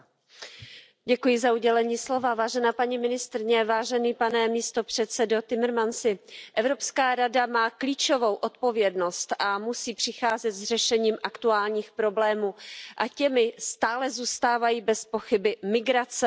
Paní ministryně, pane místopředsedo Timmermansi, Evropská rada má klíčovou odpovědnost a musí přicházet s řešením aktuálních problémů a těmi stále zůstávají bezpochyby migrace a bezpečnost.